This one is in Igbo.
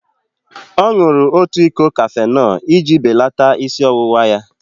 Ọ ṅụrụ otu iko kafenol iji belata isi ọwụwa ya.